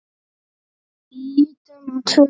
Lítum á tvö dæmi.